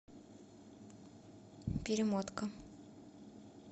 перемотка